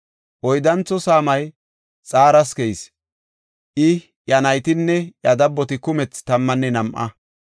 Oyddantho saamay Xaras keyis; I, iya naytinne iya dabboti kumethi tammanne nam7a.